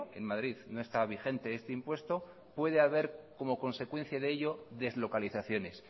en madrid no está vigente este impuesto puede haber como consecuencia de ello deslocalizaciones